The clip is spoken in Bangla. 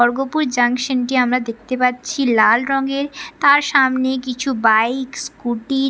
খড়্গপুর জংশন টি আমরা দেখতে পাচ্ছি লাল রংয়ের। তার সামনে কিছু বাইক স্কুটি --